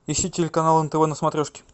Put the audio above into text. ищи телеканал нтв на смотрешке